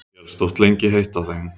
Hélst oft lengi heitt á þeim.